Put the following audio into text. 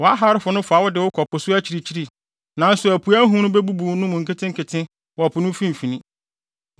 Wʼaharefo no fa wo de wo kɔ po so akyirikyiri nanso apuei ahum bebubu wo mu nketenkete wɔ po no mfimfini.